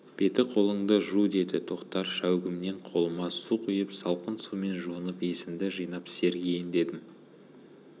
беті-қолыңды жу деді тоқтар шәугімнен қолыма су құйып салқын сумен жуынып есімді жинап сергиін дедім